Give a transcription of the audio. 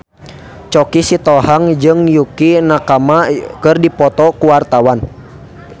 Choky Sitohang jeung Yukie Nakama keur dipoto ku wartawan